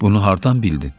Bunu hardan bildin?